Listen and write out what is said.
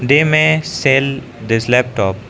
They may sell this laptop.